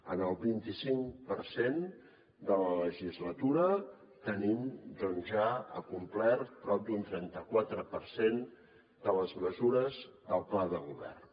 en el vint i cinc per cent de la legislatura tenim doncs ja acomplert prop d’un trenta quatre per cent de les mesures del pla de govern